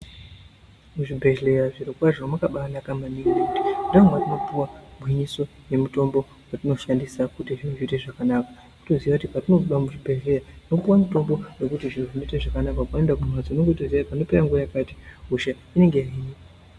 Kuzvibhedhlera zviro kwazvo mwakabainaka maningi ndomatinopiwa gwinyiso nemutombo watinoshandisa kuti zviro zviite zvakanaka unoziya kuti patinoenda kuzvibhedhlera unopiwa mutombo zviro zviite zvakanaka paunoenda kumbatso unoziva kuti panopera nguva yakati hosha inenge yahinwa